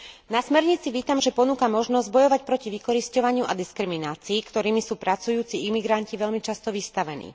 Na smernici vítam, že ponúka možnosť bojovať proti vykorisťovaniu a diskriminácii, ktorým sú pracujúci imigranti veľmi často vystavení.